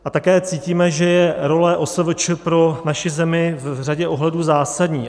A také cítíme, že je role OSVČ pro naši zemi v řadě ohledů zásadní.